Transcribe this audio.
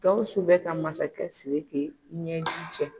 GAWUSU bɛ ka masakɛ SIRIKI kɛ ɲɛji cɛ